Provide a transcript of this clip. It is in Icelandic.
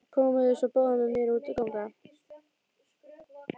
Komiði svo báðar með mér út að ganga.